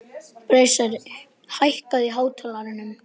Bresi, hækkaðu í hátalaranum.